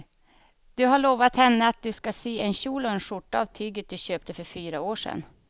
Du har lovat henne att du ska sy en kjol och skjorta av tyget du köpte för fyra år sedan.